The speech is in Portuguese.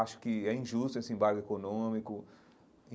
Acho que é injusto esse embargo econômico.